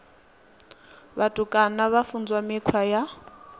vhutukani vha funzwa mikhwa ya